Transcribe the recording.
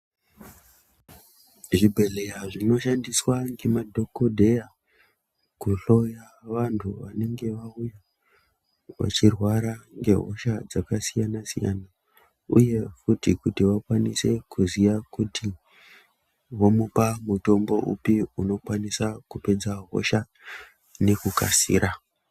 Zvibhedhleya zvinoshandiswa ngemadhokodheya kuhloya vantu vanenge vauya vachirwara ngehosha dzakasiyana siyana uye kuti vakwanise kuziya kuti vomupa mutombo upi unokwanisa kupedza hosha nekukasira.